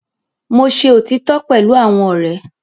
Mo ṣe otitọ pẹlu awọn ọrẹ